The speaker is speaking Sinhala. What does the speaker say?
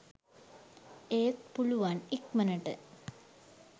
ඒත් පුලුවන් ඉක්මණට